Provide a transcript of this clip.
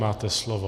Máte slovo.